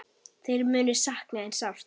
Þeir munu sakna þín sárt.